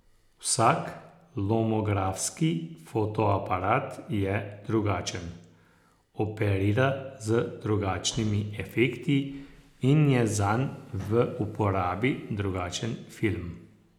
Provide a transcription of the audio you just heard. Vsak lomografski fotoaparat je drugačen, operira z drugačnimi efekti in je zanj v uporabi drugačen film.